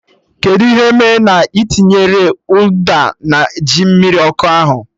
Kedụ ihe mee na ị tinyerọ ụda na ji mmiri ọkụ ahụ?